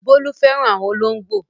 Bólú fẹ́ràn àwọn olóńgbò.